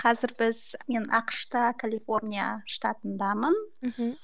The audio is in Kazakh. қазір біз мен ақш та калифорния штатындамын мхм